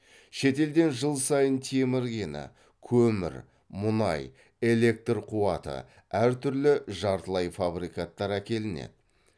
шетелден жыл сайын темір кені көмір мұнай электр қуаты әртүрлі жартылай фабрикаттар әкелінеді